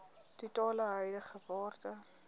totale huidige waarde